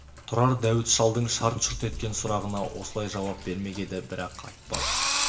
тұрар дәуіт шалдың шарт-шұрт еткен сұрағына осылай жауап бермек еді бірақ айтпады